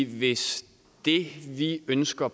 hvis det vi ønsker